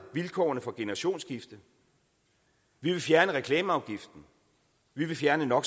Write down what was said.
vilkårene for generationsskifte vi vil fjerne reklameafgiften vi vil fjerne no